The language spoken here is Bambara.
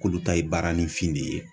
K'olu ta ye baaranifin de ye